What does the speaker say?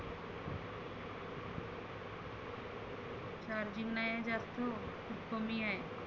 charging नाहीए जास्त खुप कमी आहे.